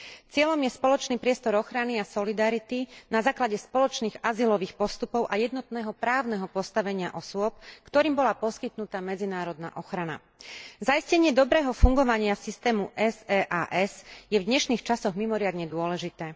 Cieľom je spoločný priestor ochrany a solidarity, na základe spoločných azylových postupov a jednotného právneho postavenia osôb, ktorým bola poskytnutá medzinárodná ochrana. Zaistenie dobrého fungovania systému SEAS je v dnešných časoch mimoriadne dôležité.